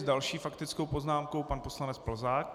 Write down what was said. S další faktickou poznámkou pan poslanec Plzák.